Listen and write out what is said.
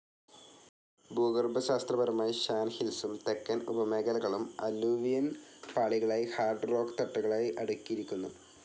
ഭൂഗർഭശാസ്ത്രപരമായി Shan ഹിൽസും തെക്കൻ ഉപമേഖലകളും, അല്ലൂവിയൻ പാളികളായി ഹാർഡ്‌ റോക്ക്‌ തട്ടുകളായി അടുക്കിയിരിക്കുന്നു.